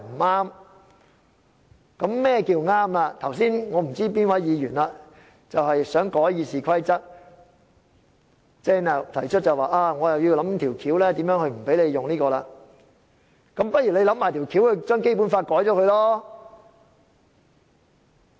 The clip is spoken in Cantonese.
我不知道剛才是哪位議員提出想修改《議事規則》，要想辦法令我不能引用條款，那麼他不如一併想辦法修改《基本法》好了。